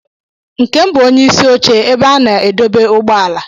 Nkem bụ onye isi oche ebe a na-adọba ụgbọala.